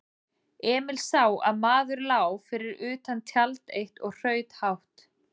Emil sá að maður lá fyrir utan tjald eitt og hraut hátt.